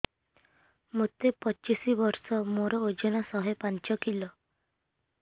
ମୋତେ ପଚିଶି ବର୍ଷ ମୋର ଓଜନ ଶହେ ପାଞ୍ଚ କିଲୋ